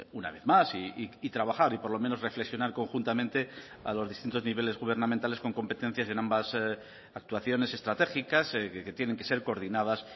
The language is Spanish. una vez más y trabajar y por lo menos reflexionar conjuntamente a los distintos niveles gubernamentales con competencias en ambas actuaciones estratégicas que tienen que ser coordinadas